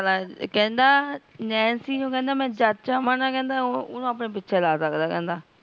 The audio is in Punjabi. ਕਹੰਦਾ nancy ਨੂ ਕਹੰਦਾ ਓਹਨੁ ਆਪਣੇ ਪਿਛੇ ਲਾ ਸਕਦਾ